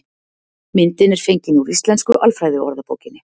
Myndin er fengin úr Íslensku alfræðiorðabókinni.